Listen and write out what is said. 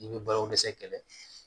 I bɛ balo dɛsɛ kɛlɛ